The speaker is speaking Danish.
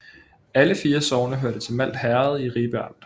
Alle 4 sogne hørte til Malt Herred i Ribe Amt